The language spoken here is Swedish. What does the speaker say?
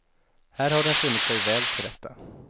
Här har den funnit sig väl till rätta.